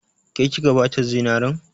Ke kika bata zinarin?